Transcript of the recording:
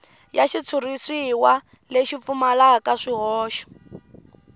ya xitshuriwa lexi pfumalaka swihoxo